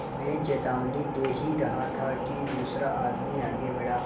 मैं चेतावनी दे ही रहा था कि दूसरा आदमी आगे बढ़ा